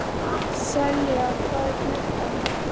Selja, hvað er klukkan?